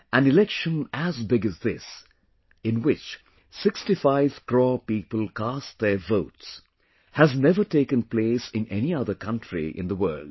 An election as big as this, in which 65 crore people cast their votes, has never taken place in any other country in the world